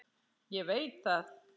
Ég veit það ekki!